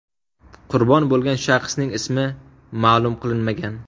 Qurbon bo‘lgan shaxsning ismi ma’lum qilinmagan.